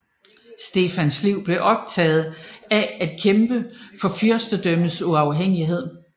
Stefans liv blev optaget af at kæmpe for fyrstendømmets uafhængighed